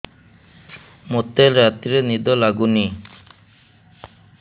ମୋତେ ରାତିରେ ନିଦ ଲାଗୁନି